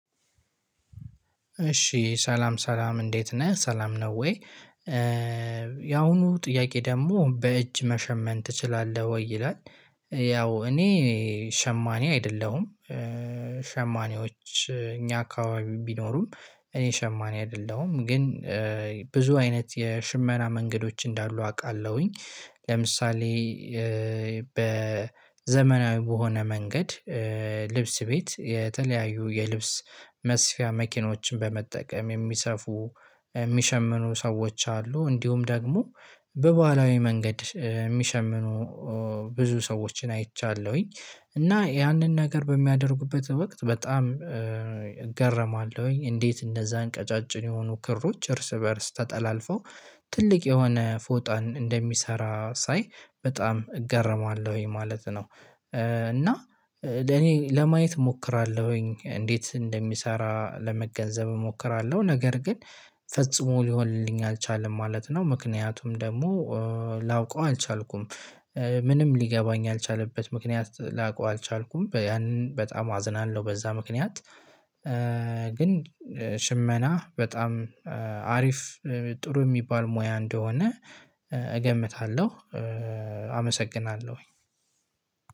እሺ ሰላም ሰላም እንዴት ነህ? ሰላም ነው ወይ? የአሁኑ ጥያቄ ደግሞ በእጅ መሸመን ትችላለህ ወይ ይላል። ያው እኔ ሸማኔ አይደለሁም። ሸማኔዎች እኛ አካባቢ ቢኖሩም እኔ ሸማኔ አይደለሁም። ግን ብዙ አይነት የሽመና መንገዶች እንዳሉ አውቃለሁኝ። ለምሳሌ በዘመናዊ በሆነ መንገድ ልብስ ቤት የተለያዩ የልብስ መስፊያ መኪኖችን በመጠቀም የሚሰፉ፣ የሚሸምኑ ሰዎች አሉ። እንዲሁም ደግሞ በባህላዊ መንገድ የሚሸምኑ ብዙ ሰዎችን አይቻለሁኝ። እና ያንን ነገር በሚያደርጉበት ወቅት በጣም እገረማለሁኝ። እንዴት እንደዛን ቀጫጭን የሆኑ ክሮች እርስ በእርስ ተጠላልፈው ትልቅ የሆነ ፎጣን እንደሚሰራ ሳይ በጣም እገረማለሁ ማለት ነው። እና ለኔ ለማየት እሞክራለሁኝ እንዴት እንደሚሰራ ለመገንዘብ እሞክራለሁ ነገር ግን ፈጽሞ ሊሆንልኝ አልቻለም ማለት ነው። ምክንያቱም ደግሞ ላውቀው አልቻልኩም። ምንም ሊገባኝ አልቻለበት ምክንያት ላውቀው አልቻልኩም። ያንን በጣም አዝናለሁ በዛ ምክንያት። ግን ሽመና በጣም አሪፍ ጥሩ የሚባል ሙያ እንደሆነ እገምታለሁ። አመሰግናለሁ።